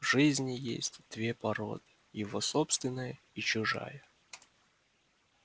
в жизни есть две породы его собственная и чужая